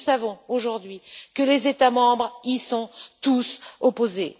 Mais nous savons, aujourd'hui, que les États membres y sont tous opposés.